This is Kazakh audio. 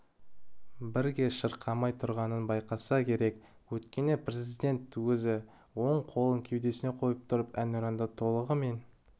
бірге шырқамай тұрғанын байқаса керек өйткені президент өзі оң қолын кедесуіне қойып тұрып әнұранды толығымен